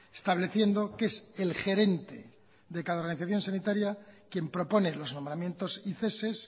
estableciendo que es el gerente de cada organización sanitaria quien propone los nombramientos y ceses